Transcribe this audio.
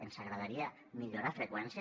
ens agradaria millorar freqüències